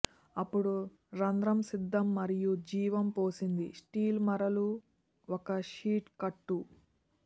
అప్పుడు రంధ్రం సిద్ధం మరియు జీవం పోసింది స్టీల్ మరలు ఒక షీట్ కట్టు